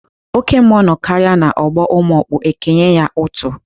Oke mmụọ nọkarịa n'ọgbọ ụmụọkpụ ekenye ya útú.